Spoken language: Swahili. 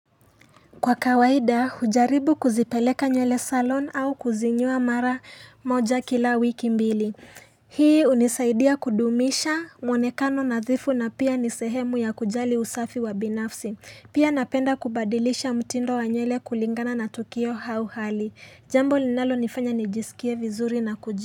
Kwa kawaida, hujaribu kuzipeleka nywele salon au kuzinyoa mara moja kila wiki mbili. Hii hunisaidia kudumisha mwonekano nadhifu na pia nisehemu ya kujali usafi wa binafsi. Pia napenda kubadilisha mtindo wa nywele kulingana na tukio hauhali. Jambo linalo nifanya nijisikie vizuri na kujia.